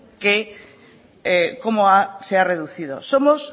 cómo se ha reducido somos